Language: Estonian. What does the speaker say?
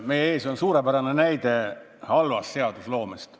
Meie ees on suurepärane näide halvast seadusloomest.